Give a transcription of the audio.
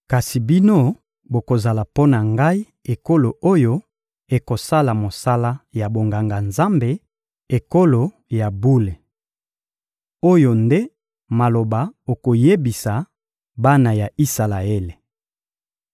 kasi bino bokozala mpo na Ngai ekolo oyo ekosala mosala ya bonganga-Nzambe, ekolo ya bule.» Oyo nde maloba okoyebisa bana ya Isalaele.